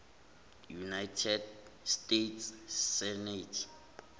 united states senate